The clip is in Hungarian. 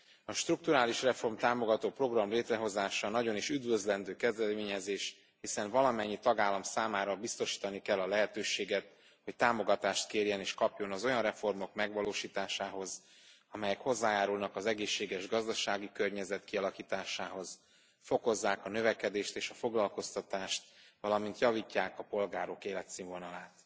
A strukturálisreform támogató program létrehozása nagyon is üdvözlendő kezdeményezés, hiszen valamennyi tagállam számára biztosítani kell a lehetőséget, hogy támogatást kérjen és kapjon az olyan reformok megvalósításához, amelyek hozzájárulnak az egészséges gazdasági környezet kialakításához, fokozzák a növekedést és a foglalkoztatást, valamint javítják a polgárok életszínvonalát.